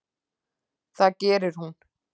Það gerir hún.